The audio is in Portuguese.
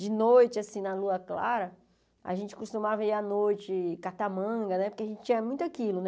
De noite, assim na lua clara, a gente costumava ir à noite catar manga né, porque a gente tinha muito aquilo né.